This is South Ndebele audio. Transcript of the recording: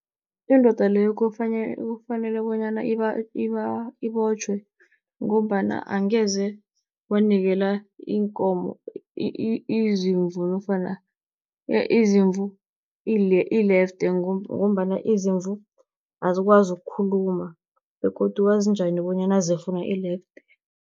Indoda leyo kufanele bonyana ibotjhwe, ngombana angeze wanikela iinkomo izimvu nofana izimvu ilefte, ngombana izimvu azikwazi ukukhuluma begodu wazi njani bonyana zifuna ilefte.